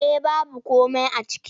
Eh baby komai a ciki.